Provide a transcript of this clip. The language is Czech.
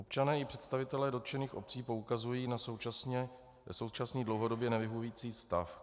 Občané i představitelé dotčených obcí poukazují na současný dlouhodobě nevyhovující stav.